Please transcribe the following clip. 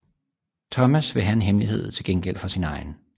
Thomas vil have en hemmelighed til gengæld for sin egen